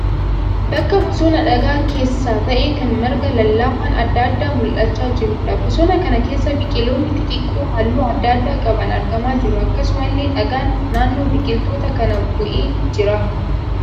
Bakka bosona dhagaa keessaa ta'ee kan marga lallaafaan adda addaa mul'achaa jiruudha. Bosona kana keessa biqiloonni xixiqqoon halluu adda addaa qaban argamaa jiru. Akkasumallee dhagaan naannoo biqiloota kanaa bu'ee jira.